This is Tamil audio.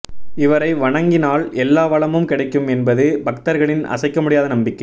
இவரை வணங்கினால் எல்லா வளமும் கிடைக்கும் என்பது பக்தர்களின் அசைக்க முடியாத நம்பிக்கை